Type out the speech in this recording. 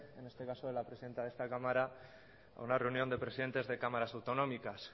en este caso la presidenta de esta cámara a una reunión de presidentes de cámaras autonómicas